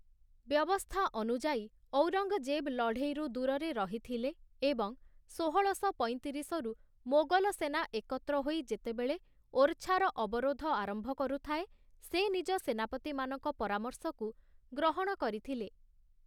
ବ୍ୟବସ୍ଥା ଅନୁଯାୟୀ, ଔରଙ୍ଗଜେବ୍ ଲଢ଼େଇରୁ ଦୂରରେ ରହି ଥିଲେ, ଏବଂ ଷୋହଳଶ ପଇଁତିରିଶ ରୁ ମୋଗଲ ସେନା ଏକତ୍ର ହୋଇ ଯେତେବେଳେ ଓରଛା୍ ର ଅବରୋଧ ଆରମ୍ଭ କରୁଥାଏ, ସେ ନିଜ ସେନାପତିମାନଙ୍କ ପରାମର୍ଶକୁ ଗ୍ରହଣ କରିଥିଲେ ।